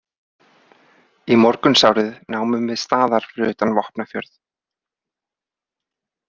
Í morgunsárið námum við staðar fyrir utan Vopnafjörð.